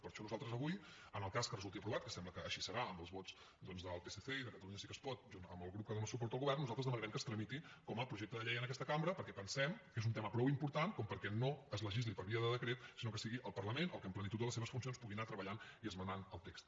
per això nosaltres avui en el cas que resulti aprovat que sembla que així serà amb els vots doncs del psc i de catalunya sí que es pot junt amb el grup que dóna suport al govern nosaltres demanarem que es tramiti com a projecte de llei en aquesta cambra perquè pensem que és un tema prou important perquè no es legisli per via de decret sinó que sigui el parlament el que en plenitud de les seves funcions pugui anar treballant i esmenant el text